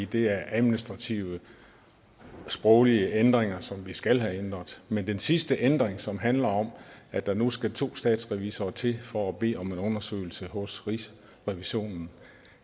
det er administrative sproglige ændringer som vi skal have lavet men den sidste ændring som handler om at der nu skal to statsrevisorer til for at bede om en undersøgelse hos rigsrevisionen